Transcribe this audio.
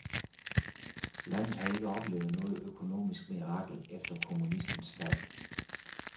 Landet har ikke oplevet noget økonomisk mirakel efter kommunismens fald.